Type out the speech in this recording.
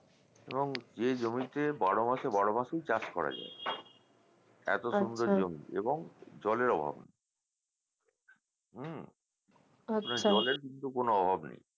এবং এ জমিতে বারো মাসের বারোমাসই চাষ করা যায় এত সুন্দর জমি এবং জলের অভাব হুম এবং জলের কিন্তু কোনও অভাব নেই